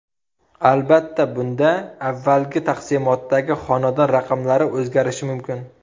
Albatta, bunda avvalgi taqsimotdagi xonadon raqamlari o‘zgarishi mumkin.